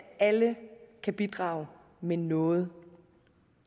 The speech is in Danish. alle kan bidrage med noget